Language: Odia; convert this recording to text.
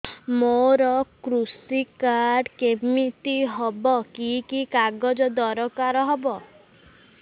ମୋର କୃଷି କାର୍ଡ କିମିତି ହବ କି କି କାଗଜ ଦରକାର ହବ